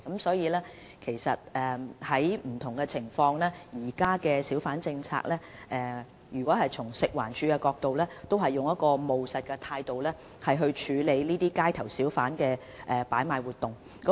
事實上，就不同情況而言，食環署在不同情況下會按照現行小販政策，以務實的態度來處理街頭小販擺賣活動。